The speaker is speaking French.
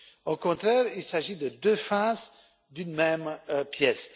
Au contraire, il s'agit de deux faces d'une même pièce.